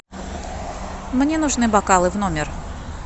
мне нужны бокалы в номер